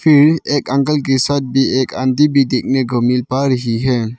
एक अंकल के साथ भी एक आंटी भी देखने को मिल पा रही है।